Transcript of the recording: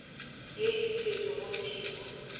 ye e tšerwe go tebu